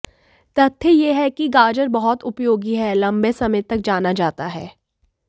तथ्य यह है कि गाजर बहुत उपयोगी हैं लंबे समय तक जाना जाता है